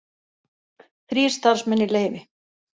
Þrír starfsmenn í leyfi